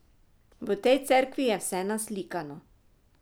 V tej cerkvi je vse naslikano.